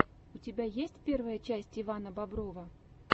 у тебя есть первая часть ивана боброва